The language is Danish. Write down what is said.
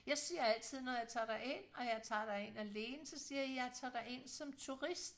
Jeg siger altid når jeg tager derind og jeg tager derind alene så siger jeg jeg tager derind som turist